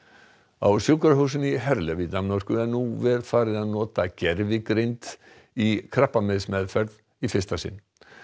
á sjúkrahúsinu í Herlev í Danmörku er nú farið að nota gervigreind í krabbameinsmeðferð í fyrsta sinn